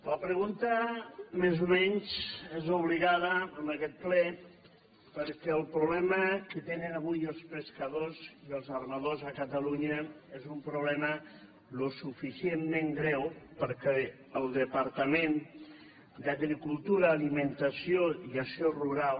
la pregunta més o menys és obligada en aquest ple perquè el problema que tenen avui els pescadors i els armadors a catalunya és un problema suficientment greu perquè el departament d’agricultura alimentació i acció rural